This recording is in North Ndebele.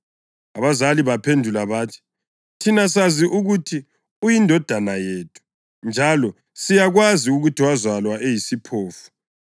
Abazali baphendula bathi, “Thina sazi ukuthi uyindodana yethu, njalo siyakwazi ukuthi wazalwa eyisiphofu.